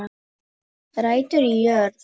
Rætur í jörð